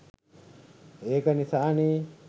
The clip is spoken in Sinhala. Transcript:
ඒක නිසානේ